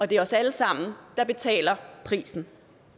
det er os alle sammen der betaler prisen